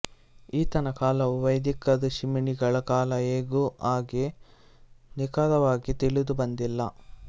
ಈತನ ಕಾಲವೂ ವೈದಿಕ ಋಷಿಮುನಿಗಳ ಕಾಲ ಹೇಗೋ ಹಾಗೆ ನಿಖರವಾಗಿ ತಿಳಿದುಬಂದಿಲ್ಲ